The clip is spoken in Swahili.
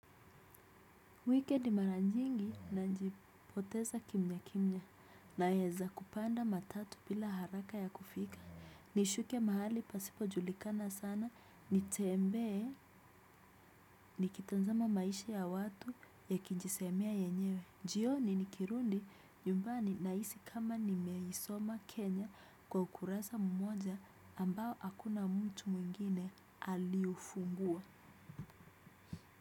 Wikendi mara nyingi najipoteza kimya kimya naeza kupanda matatu bila haraka ya kufika nishuke mahali pasipo julikana sana nitembee nikitazama maisha ya watu yakijisemea yenyewe, jioni nikirudi nyumbani nahisi kama nimeisoma Kenya kwa ukurasa mmoja ambao hakuna mtu mwingine aliufungua.